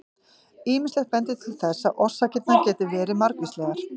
Ýmislegt bendir til þess að orsakirnar geti verið margvíslegar.